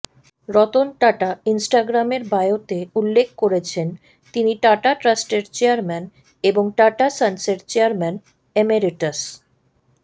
রতন টাটা ইনস্ট্রাগ্রামের বায়োতে উল্লেখ করেছেন তিনি টাটা ট্রাস্টের চেয়ারম্যান এবং টাটা সন্সের চেয়ারম্যান এমেরিটাস